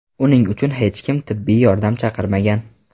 Uning uchun hech kim tibbiy yordam chaqirmagan.